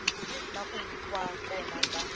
na ku va kona ka